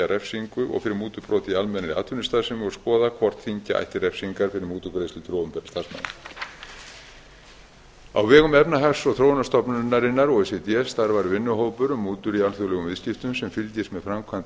refsingu og mútubrot í almennri atvinnustarfsemi og skoða hvort þyngja ætti refsingar fyrir mútugreiðslur til opinberra starfsmanna á vegum efnahags og þróunarstofnunarinnar o e c d starfar vinnuhópur um mútur í alþjóðlegum viðskiptum sem fylgist með framkvæmd